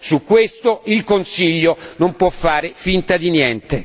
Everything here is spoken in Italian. Su questo il Consiglio non può fare finta di niente!